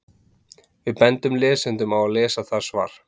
Við bendum lesendum á að lesa það svar.